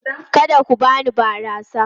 Kada ku bani barasa!